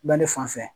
Bɛɛ ne fan fɛ